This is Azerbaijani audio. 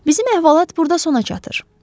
Bizim əhvalat burda sona çatır.